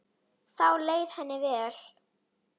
Þá leið henni vel.